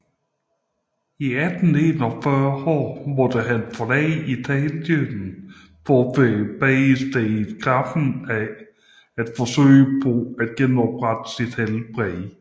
I 1841 måtte han forlade Italien for ved badestedet Gräfenberg at forsøge på at genoprette sit helbred